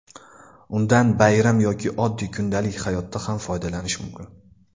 Undan bayram yoki oddiy kundalik hayotda ham foydalanish mumkin.